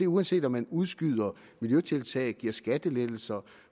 uanset om man udskyder miljøtiltag giver skattelettelser